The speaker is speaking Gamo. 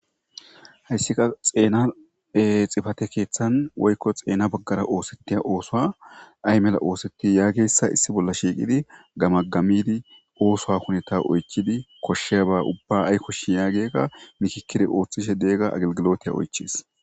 Hayssika xeena e xifate keeththan woykko xeena baggara oosetiya oosoa ay mela ooseti yaageyssa issi bolla shiiqidi gamagamidi oosowa huneta oychidi koshshe ba ubba ay koshshi yaagega mikikkidi ooththishe deega agelgilotiya oychis.